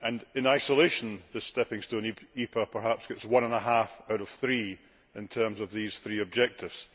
In isolation, this stepping stone EPA perhaps gets one and a half out of three in terms of meeting these three objectives.